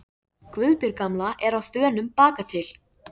Guðbjörg gamla er á þönum bakatil.